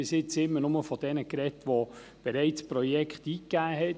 Bisher war immer nur die Rede von denjenigen, die bereits Projekte eingegeben haben.